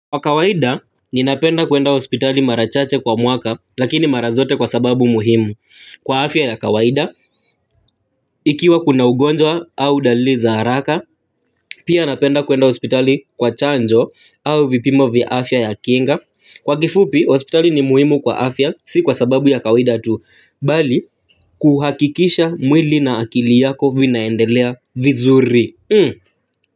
Kwa kawaida, ninapenda kuenda hospitali mara chache kwa mwaka, lakini mara zote kwa sababu muhimu. Kwa afya ya kawaida, ikiwa kuna ugonjwa au dalili za haraka, pia napenda kuenda hospitali kwa chanjo, au vipimo vya afya ya kinga, kwa kifupi, hospitali ni muhimu kwa afya, si kwa sababu ya kawaida tu, bali kuhakikisha mwili na akili yako vinaendelea vizuri.